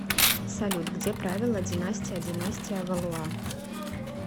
салют где правила династия династия валуа